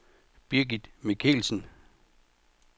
Birgit Michelsen